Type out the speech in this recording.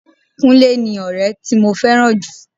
Kúnlé ni ọrẹ tí mo fẹ́ràn jù.